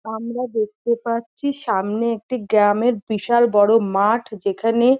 আমরা দেখতে পাচ্ছি সামনে একটি গ্রামের বিশাল বড় মাঠ যেখানে--